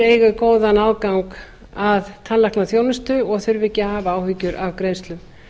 eigi góðan aðgang að tannlæknaþjónustu og þurfi ekki að hafa áhyggjur af greiðslum